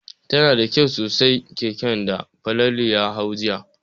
Tana da kyau sosai keken da Falalu ya hau jiya.